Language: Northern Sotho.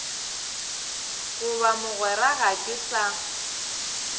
goba mogwera ga ke sa